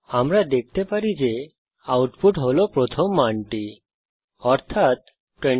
আমরা দেখতে পারি আউটপুট হল প্রথম মানটি অর্থাৎ 25